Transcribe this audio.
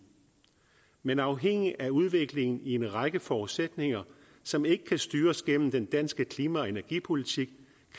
men afhængigt af udviklingen i en række forudsætninger som ikke kan styres gennem den danske klima og energipolitik